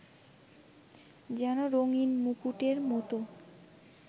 যেন রঙিন মুকুটের মতো